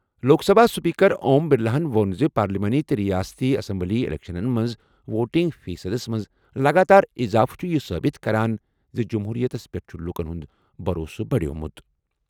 لوک Sabha speaker Om Birla ہَن ووٚن زِ پارلیمانی تہٕ ریاستی اسمبلی اِلیکشنَن منٛز ووٹنگ فیصدَس منٛز لگاتار اضافہٕ چھُ یہِ ثٲبت کران زِ جموٗرِیَتس پٮ۪ٹھ چھُ لوٗکَن ہُنٛد بھروسہٕ بڑیومُت۔